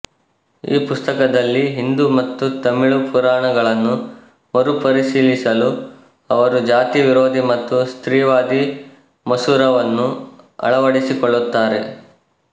ಈ ಪುಸ್ತಕದಲ್ಲಿ ಹಿಂದೂ ಮತ್ತು ತಮಿಳು ಪುರಾಣಗಳನ್ನು ಮರುಪರಿಶೀಲಿಸಲು ಅವರು ಜಾತಿ ವಿರೋಧಿ ಮತ್ತು ಸ್ತ್ರೀವಾದಿ ಮಸೂರ ವನ್ನು ಅಳವಡಿಸಿಕೊಳ್ಳುತ್ತಾರೆ